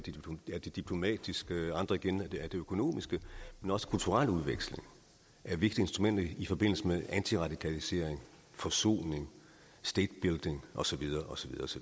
af det diplomatiske og andre igen af det økonomiske men også kulturel udveksling er et vigtigt instrument i forbindelse med antiradikalisering forsoning state building og så videre og så